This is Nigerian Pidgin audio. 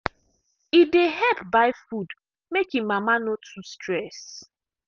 e dey help buy food make him mama no too stress.